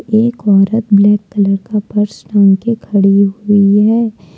एक औरत black colour का पर्स टांग के खड़ी हुई है।